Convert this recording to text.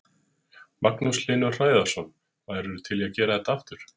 Magnús Hlynur Hreiðarsson: Værirðu til í að gera þetta aftur?